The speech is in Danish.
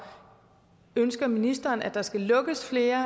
ønsker ministeren at der skal lukkes flere